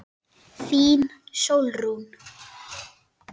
Þín, Sólrún.